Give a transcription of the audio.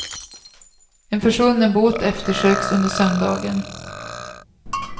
En försvunnen båt eftersöks under söndagen.